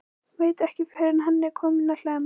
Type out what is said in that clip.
Veit ekki fyrr en hann er kominn á Hlemm.